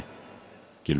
Gylfi